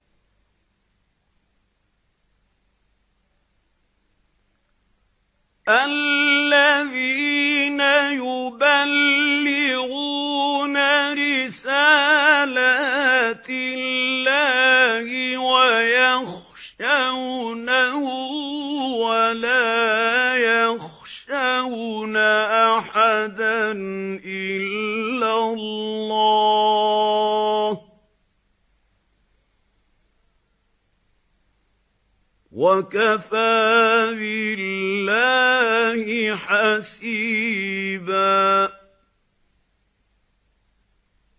الَّذِينَ يُبَلِّغُونَ رِسَالَاتِ اللَّهِ وَيَخْشَوْنَهُ وَلَا يَخْشَوْنَ أَحَدًا إِلَّا اللَّهَ ۗ وَكَفَىٰ بِاللَّهِ حَسِيبًا